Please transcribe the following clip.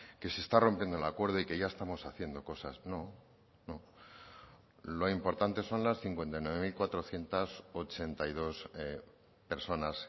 que se está rompiendo el acuerdo y que ya estamos haciendo cosas no no lo importante son las cincuenta y nueve mil cuatrocientos ochenta y dos personas